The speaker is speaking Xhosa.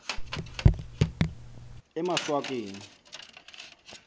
emaswakeni